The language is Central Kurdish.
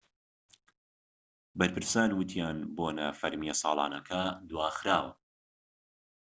بەرپرسان وتیان بۆنە فەرمیە ساڵانەکە دواخراوە